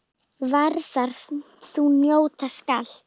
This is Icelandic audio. Værðar þú njóta skalt.